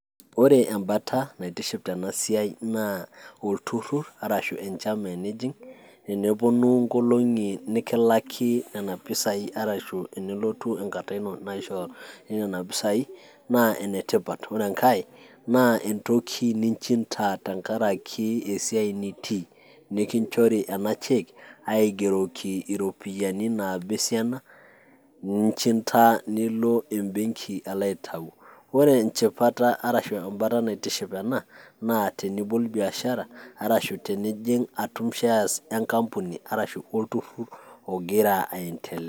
Ore ebata naitiship tenasiai naa, olturrur arashu enchama tenijing',neponu nkolong'i nikilaki nena pisai arashu nelotu enkata ino naisho enena pisai, naa enetipat. Ore enkae, naa entoki ninchinta tenkaraki esiai nitii. Nikinchori ena cheque, aigeroki iropiyiani naaba esiana, ninchinta nilo ebenki alo aitau. Ore enchipata arashu ebata naitiship ena, naa tenibol biashara, arashu tenijing' atum shares enkampuni arashu olturrur ogira aendelea.